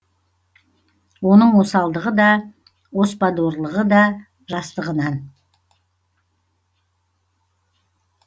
оның осалдығы да оспадорлығы жастығынан